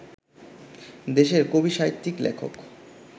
দেশের কবি-সাহিত্যিক-লেখক